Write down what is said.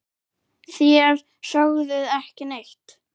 Þér sögðuð ekki neitt!